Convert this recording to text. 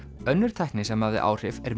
önnur tækni sem hafði áhrif er